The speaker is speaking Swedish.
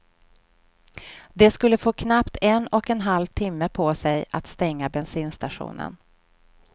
De skulle få knappt en och en halv timme på sig att stänga bensinstationen.